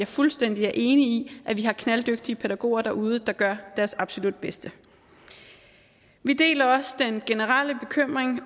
fuldstændig enig at vi har knalddygtige pædagoger derude der gør deres absolut bedste vi deler også den generelle bekymringen